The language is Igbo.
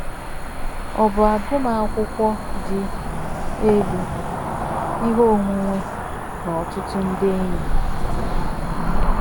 Ọ̀ bụ agụmakwụkwọ dị elu, ihe onwunwe, na ọtụtụ ndị enyi?